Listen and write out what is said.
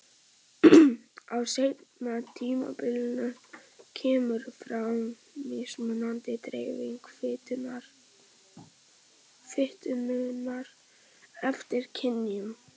Á seinna tímabilinu kemur fram mismunandi dreifing fitunnar eftir kynjum.